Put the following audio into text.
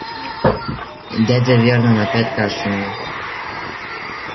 дядя вернон опять кашлянул